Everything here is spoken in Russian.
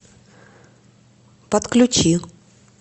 подключи